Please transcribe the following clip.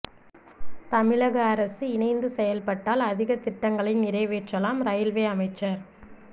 தமிழக அரசு இணைந்து செயல்பட்டால் அதிக திட்டங்களை நிறைவேற்றலாம் ரெயில்வே அமைச்சர்